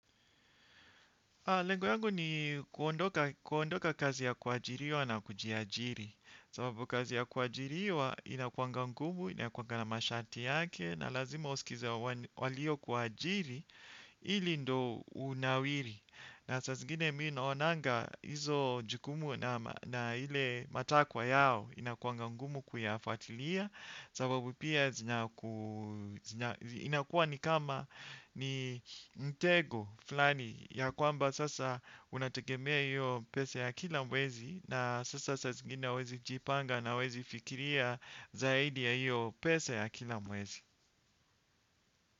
Lengo yangu ni kuondoka kazi ya kuajiriwa na kujiajiri. Sababu kazi ya kuajiriwa inakuanga ngumu, inakuanga na masharti yake na lazima usikize walio kuajiri ili ndo unawiri. Na saa zingine mii naonanga hizo jukumu na hile matakwa yao inakuanga ngumu kuyafatilia sababu pia inakua ni kama ni mtego flani ya kwamba sasa unategemea hiyo pesa ya kila mwezi na sasa saa zingine huwezi jipanga na huwezi fikiria zaidi ya hiyo pesa ya kila mwezi.